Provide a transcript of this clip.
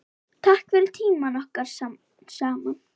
Takk fyrir tímann okkar saman.